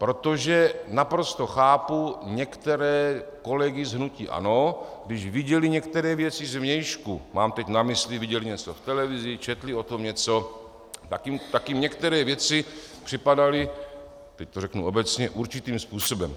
Protože naprosto chápu některé kolegy z hnutí ANO, když viděli některé věci zvnějšku, mám teď na mysli, viděli něco v televizi, četli o tom něco, tak jim některé věci připadaly, teď to řeknu obecně, určitým způsobem.